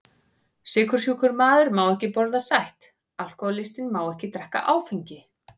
Sykursjúkur maður má ekki borða sætt, alkohólistinn má ekki drekka áfengi.